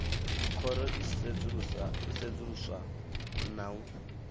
khoro i sedzuluswa na u